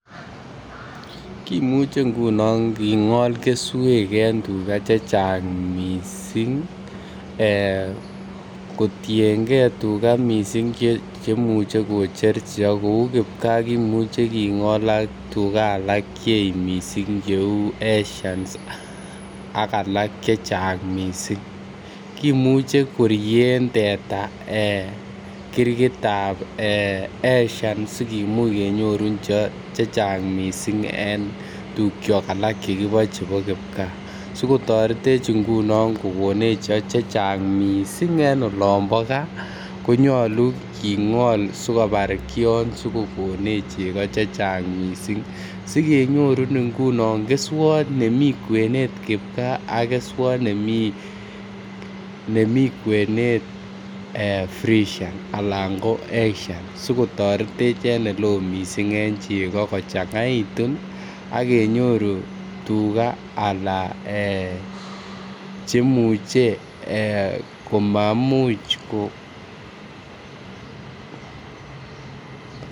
Kimuche ngunon kigol keswek en tuga chechang missing ee kotiengee tuga missing chemuche kocher chebo kouu kipkaa kimuche kigol ak tuga alak cheech missing che uu esians ak alak chechang missing. kimuche korien teta ee kirgitab esian sikimuch kenyorun cheo chechang missing en tugyok alak che kiboe chebo kipkaa sikotoretech ngunon kokonech cheo chechang missing en olombo gaa konyoluu kigol sikobar kion sikogonech chego chechang missing sikenyorun ngunon keswot nemii kwenet kipkaa ak keswot nemii kwenet fresian anan ko asian sikotoretech en ole oo missing en chego kochangaitun ak kenyoru tuga ala ee chemuche ee komamuch ko